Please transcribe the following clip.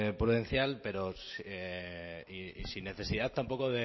prudencial pero sin necesidad tampoco